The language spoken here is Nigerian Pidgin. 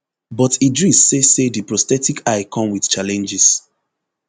but idris say say di prosthetic eye come wit challenges